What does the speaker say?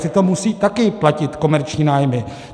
Přitom musí taky platit komerční nájmy.